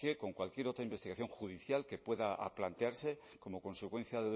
con cualquier otra investigación judicial que pueda plantearse como consecuencia